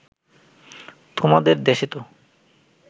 তোমাদের দেশেতো